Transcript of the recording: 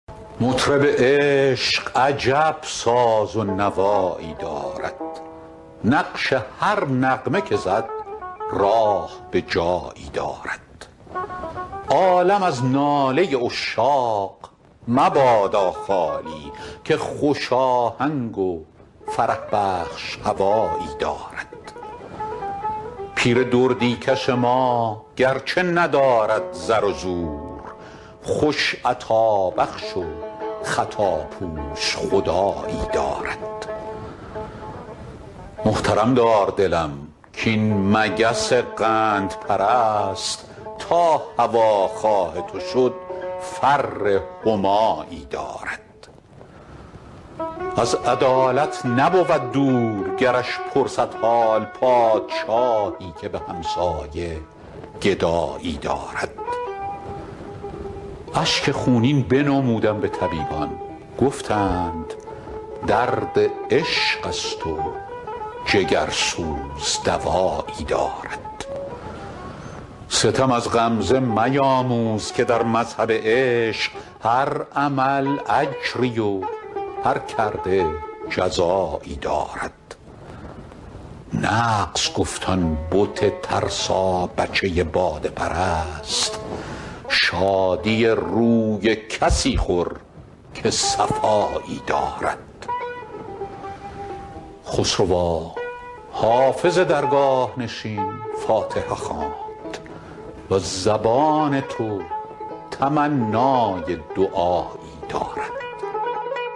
مطرب عشق عجب ساز و نوایی دارد نقش هر نغمه که زد راه به جایی دارد عالم از ناله عشاق مبادا خالی که خوش آهنگ و فرح بخش هوایی دارد پیر دردی کش ما گرچه ندارد زر و زور خوش عطابخش و خطاپوش خدایی دارد محترم دار دلم کاین مگس قندپرست تا هواخواه تو شد فر همایی دارد از عدالت نبود دور گرش پرسد حال پادشاهی که به همسایه گدایی دارد اشک خونین بنمودم به طبیبان گفتند درد عشق است و جگرسوز دوایی دارد ستم از غمزه میاموز که در مذهب عشق هر عمل اجری و هر کرده جزایی دارد نغز گفت آن بت ترسابچه باده پرست شادی روی کسی خور که صفایی دارد خسروا حافظ درگاه نشین فاتحه خواند وز زبان تو تمنای دعایی دارد